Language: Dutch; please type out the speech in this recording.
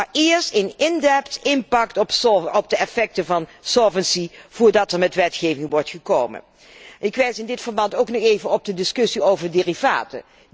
Maar eerst een in dept impact op de effecten van solvency voordat er met wetgeving wordt gekomen. Ik wijs in dit verband ook nog even op de discussie over derivaten.